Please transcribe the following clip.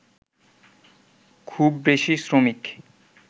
খুব বেশি শ্রমিক